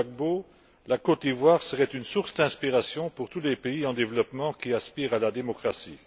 Gbagbo, la Côte d'Ivoire serait une source d'inspiration pour tous les pays en développement qui aspirent à la démocratie.